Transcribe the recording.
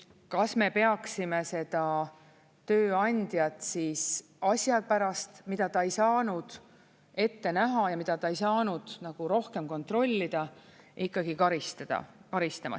Kas me peaksime seda tööandjat asja pärast, mida ta ei saanud ette näha ja mida ta ei saanud nagu rohkem kontrollida, ikkagi karistama?